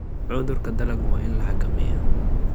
Cudurka dalaggu waa in la xakameeyaa.